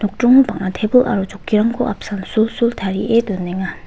nokdringo bang·a tebil aro chokkirangko apsan sulsul tarie donenga.